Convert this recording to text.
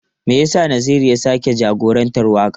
Me yasa Naziru ya sake jagorantar wakar?